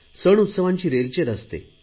सण उत्सवांची रेलचेल असते